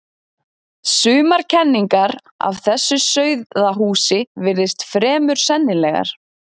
Sumar kenningar af þessu sauðahúsi virðast fremur sennilegar.